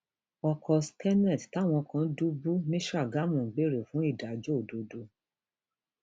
ọkọ um seknet táwọn kan dùbú ní sàgámù ń béèrè um fún ìdájọ òdodo